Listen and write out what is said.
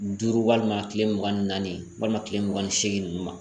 Duuru walima kile mugan ni naani walima kile mugan ni segin